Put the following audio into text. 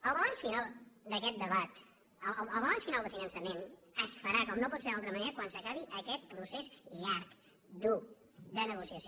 el balanç final d’aquest debat el balanç final de finançament es farà com no pot ser d’altra manera quan s’acabi aquest procés llarg dur de negociació